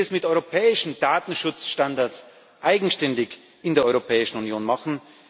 Ich möchte dies mit europäischen Datenschutzstandards eigenständig in der Europäischen Union machen.